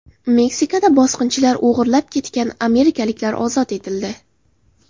Meksikada bosqinchilar o‘g‘irlab ketgan amerikaliklar ozod etildi.